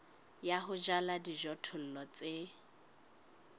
ya ho jala dijothollo tse